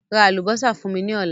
Ra àlùbọ́sà fún mí ní ọ̀la